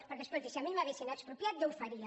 perquè escolti si a mi m’haguessin expropiat jo ho faria